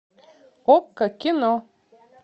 окко кино